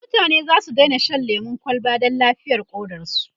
mutane zasu Daina Shan lemun kwalba Dan lafiyar ƙodarsu